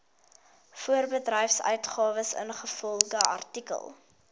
voorbedryfsuitgawes ingevolge artikel